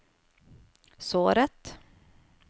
såret